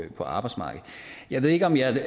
arbejdsmarkedet jeg ved ikke om jeg